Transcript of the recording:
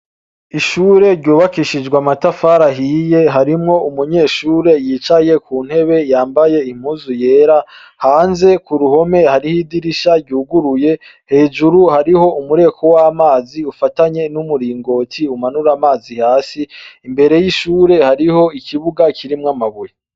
Ishure ryubakishijwe amatafari ahiye, harimwo umunyeshure yicaye ku ntebe, yambaye impuzu yera. Hanze ku ruhome hariho idirisha ryuguruye. Hejuru hariho umureko w'amazi, ufatanye n'umuringoti umanura amazi hasi. Imbere y'ishure hariho ikibuga kirimwo amabuye.